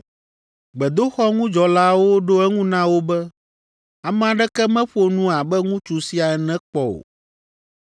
Gbedoxɔŋudzɔlaawo ɖo eŋu na wo be, “Ame aɖeke meƒo nu abe ŋutsu sia ene kpɔ o.”